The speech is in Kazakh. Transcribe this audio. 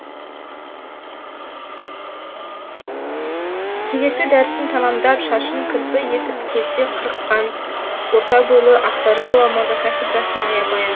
кезекті дәрісін тәмамдап шашын кірпі етіп келте қырыққан орта бойлы ақсары ғұлама да кафедрасына аян